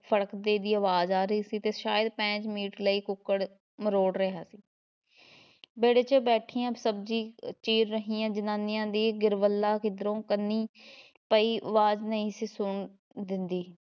ਫੜਕਦੇ ਦੀ ਅਵਾਜ਼ ਆ ਰਹੀ ਸੀ ਤੇ ਸ਼ਾਇਦ ਪੈਂਚ ਮੀਟ ਲਈ ਕੁੱਕੜ ਮਰੋੜ ਰਿਹਾ ਸੀ ਵਿਹੜੇ ‘ਚ ਬੈਠੀਆਂ ਸਬਜ਼ੀ ਚੀਰ ਰਹੀਆਂ ਜ਼ਨਾਨੀਆਂ ਦੀ ਗਿਰਬਲ੍ਹਾ ਕਿਧਰੋਂ ਕੰਨੀ ਪਈ ਵਾਜ ਨਹੀ ਸੀ ਸੁਣਨ ਦੇਂਦੀ।